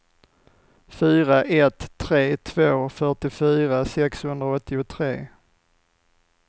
fyra ett tre två fyrtiofyra sexhundraåttiotre